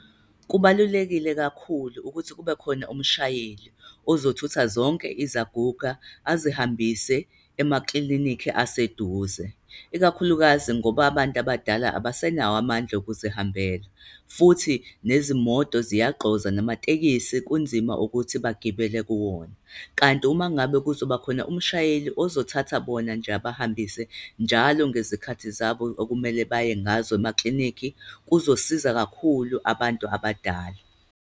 Kubalulekile kakhulu ukuthi kube khona umshayeli ozothutha zonke izaguga, azihambise emaklinikhi aseduze, ikakhulukazi ngoba abantu abadala abasenawo amandla okuzihambela. Futhi nezimoto ziyagqoza, namatekisi kunzima ukuthi bagibele kuwona. Kanti uma ngabe kuzoba khona umshayeli ozothatha bona nje abahambise njalo ngezikhathi zabo okumele baye ngazo emaklinikhi. kuzosiza kakhulu abantu abadala.